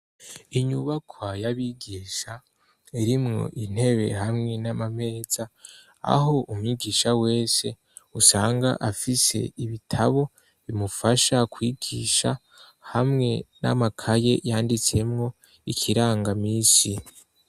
Inyubaka y'abigisha irimwo intebe hamwe n'amameza aho umwigisha wese usanga afise ibitabo bimufasha kwigisha hamwe n'amakaye yanditsemwo ikirangamisi.